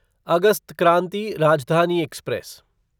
August Kranti Rajdhani express